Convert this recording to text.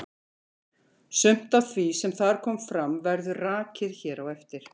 Sumt af því sem þar kom fram verður rakið hér á eftir.